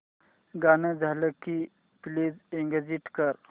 गाणं झालं की प्लीज एग्झिट कर